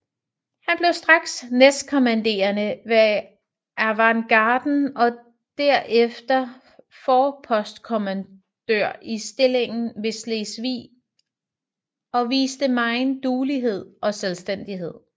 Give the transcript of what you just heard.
Han blev straks næstkommanderende ved avantgarden og derefter forpostkommandør i stillingen ved Slesvig og viste megen duelighed og selvstændighed